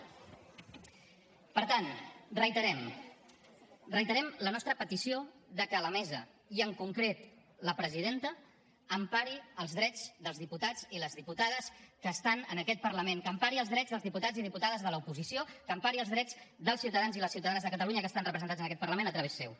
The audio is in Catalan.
per tant reiterem reiterem la nostra petició de que la mesa i en concret la presidenta empari els drets dels diputats i les diputades que estan en aquest parlament que empari els drets dels diputats i diputades de l’oposició que empari els drets dels ciutadans i les ciutadanes de catalunya que estan representats en aquest parlament a través seu